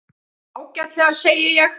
Ágætlega, segi ég.